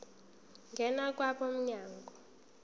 ngena kwabo mnyango